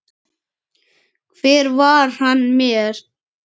Hver var hann mér?